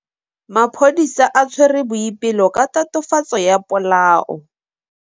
Maphodisa a tshwere Boipelo ka tatofatsô ya polaô.